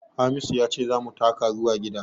Hamisu ya ce za mu taka zuwa gida